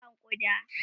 mangwaro na Kiran ƙuda